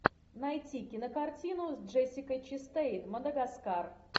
найти кинокартину с джессикой честейн мадагаскар